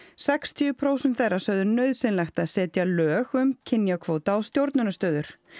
sextíu prósent þeirra sögðu nauðsynlegt að setja lög um kynjakvóta á stjórnunarstöður